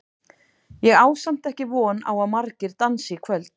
Ég á samt ekki von á að margir dansi í kvöld.